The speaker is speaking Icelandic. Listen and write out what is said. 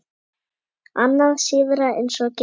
Annað síðra eins og gengur.